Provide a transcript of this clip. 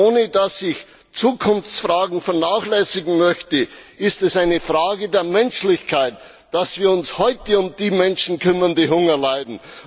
Ohne dass ich Zukunftsfragen vernachlässigen möchte, ist es eine Frage der Menschlichkeit, dass wir uns heute um die Menschen kümmern, die Hunger leiden.